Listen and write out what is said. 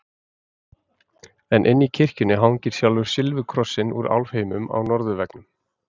En inni í kirkjunni hangir sjálfur silfurkrossinn úr álfheimum á norðurveggnum.